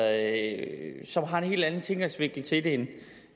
at som har en helt anden tilgangsvinkel til det end